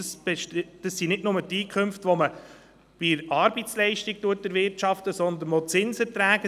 Dazu gehören nicht nur die Einkünfte, die man mit Arbeitsleistungen erwirtschaftet, sondern auch Zinserträge;